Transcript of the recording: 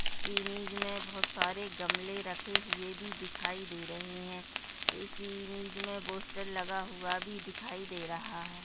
Image में बहोत सारे गमले रखे हुए भी दिखाई दे रहें हैं इस इमेज में पोस्टर लगा हुआ भी दिखाई दे रहा है।